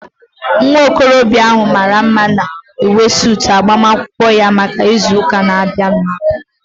Nwa okorobịa ahu mara mma n'uwe suutu agbamakwụkwọ ya maka ịzụ ụka abụọ na-abịanụ